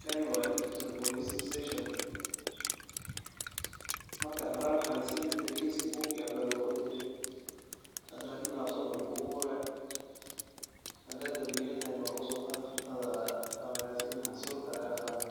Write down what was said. Kani waa digital police station ,marka horaan waxaa lasameyni jire kiiska buug iyo wax baa lagu qori jire, hada Lakin laptop ayaa lagugu qoraa, hadaa dambiila tahay na waa lagu soo qaadaa, farta ayaa lagaa siina sulka ayaa lagaa qaadaa,